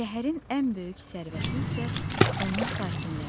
Şəhərin ən böyük sərvəti isə onun sakinləridir.